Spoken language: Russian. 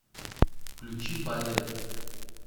включи балет